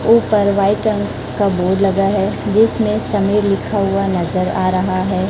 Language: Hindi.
ऊपर व्हाइट रंग का बोर्ड लगा है जिसमें समय लिखा हुआ नजर आ रहा है।